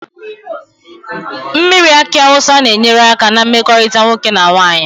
Mmiri aki awusa na enyere aka na mmekorita nwoke na nwanyi